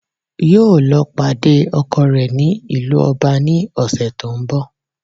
Yóò lọ pàdé ọkọ rẹ ní ìlú Ọba ní òsè tó n bò